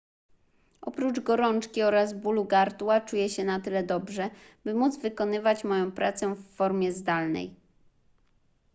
oprócz gorączki oraz bólu gardła czuję się na tyle dobrze by móc wykonywać moją pracę w formie zdalnej